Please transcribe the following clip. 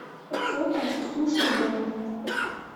фото суши до